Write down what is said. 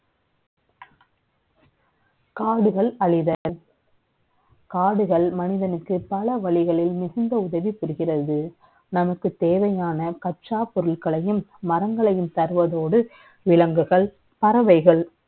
காடுகள் அழிதல் . காடுகள் மனிதனுக்கு, பல வழிகளில் மிகுந்த உதவி புரிகிறது. நமக்கு நமக்குத் தே வை யான கச்சாப் ப ொருட்களை யும், மரங்களை யும் தருவத ோடு, விலங்குகள், பறவை கள்,